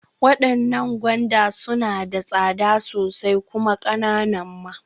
Waɗannan gwanda suna da tsada sosai kuma ƙananan ma.